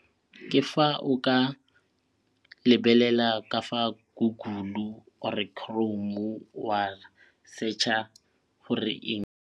Ke fa o ka lebelela ka fa google-u or chrome-u wa searcher gore eng.